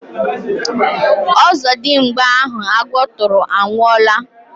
Ọzọdimgba ahụ agwọ tụrụ anwụọla